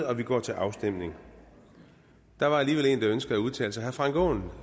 og vi går til afstemning der var alligevel en der ønskede at udtale sig herre frank aaen